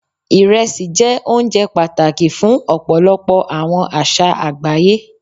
irẹsi jé ounjẹ pàtàkì fún òpolopò àwọn àṣà àgbáyé